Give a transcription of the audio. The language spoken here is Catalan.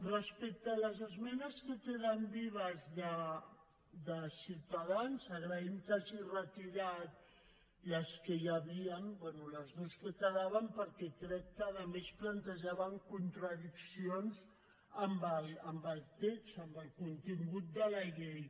respecte a les esmenes que queden vives de ciutadans agraïm que hagin retirat les que hi havien bé les dues que quedaven perquè crec que a més plantejaven contradiccions amb el text amb el contingut de la llei